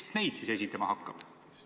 Kes neid siis esindama hakkab?